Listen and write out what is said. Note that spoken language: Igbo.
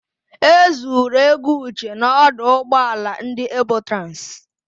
E zuru ego Uche n'ọdụ ụgbọala ndị Ebotransị.